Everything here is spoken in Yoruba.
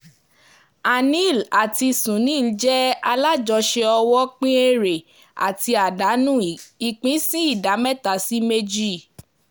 anil àti sunil jẹ́ alájọṣe owó pín èrè àti àdánù ìpín sí ìdá mẹ́ta sí méjì